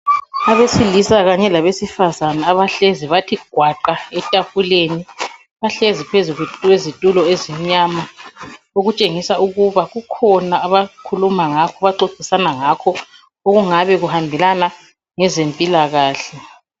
Abesilisa kanye labesifazane abahlezi bathi gwaqa etafuleni. Bahlezi phezu kwezitulo ezimnyama, okutshengisa ukuba kukhona abakhuluma ngakho abaxoxisana ngakho okungabe kuhambelana ngezempilakahle.